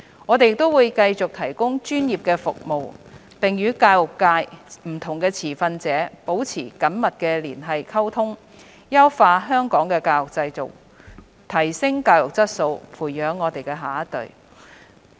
我們亦會繼續提供專業的服務，並與教育界不同持份者保持緊密連繫及溝通，優化香港的教育制度，提升教育質素，培育下一代。